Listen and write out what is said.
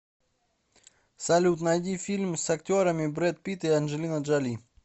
салют найди фильм с актерами бред пит и анджелина джоли